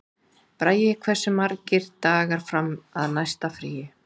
Bragi, hversu margir dagar fram að næsta fríi?